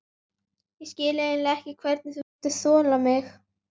Ég skil eiginlega ekki hvernig þú getur þolað mig.